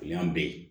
O y'an bɛɛ ye